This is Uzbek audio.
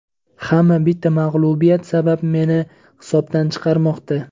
Hamma bitta mag‘lubiyat sabab meni hisobdan chiqarmoqda.